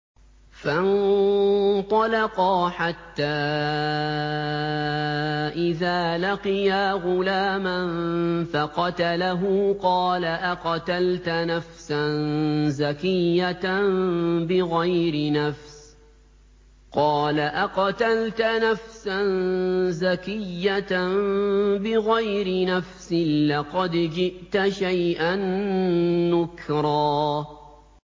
فَانطَلَقَا حَتَّىٰ إِذَا لَقِيَا غُلَامًا فَقَتَلَهُ قَالَ أَقَتَلْتَ نَفْسًا زَكِيَّةً بِغَيْرِ نَفْسٍ لَّقَدْ جِئْتَ شَيْئًا نُّكْرًا